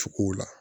Cogow la